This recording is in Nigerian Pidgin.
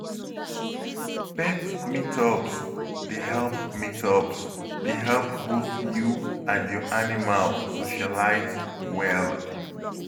Pet meetups dey help meetups dey help both you and your animal socialize well.